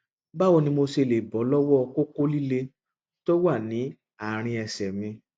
báwo ni mo ṣe lè bọ lọwọ kókó líle tó wà ní àárín ẹsẹ mi